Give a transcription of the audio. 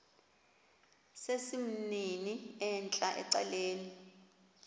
sesimnini entla ecaleni